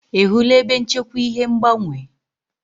Ị hụla ebe nchekwa ihe ngbanwe?